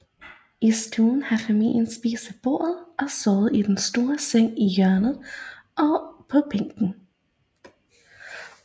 I stuen har familien spist ved bordet og sovet i den store seng i hjørnet og på bænken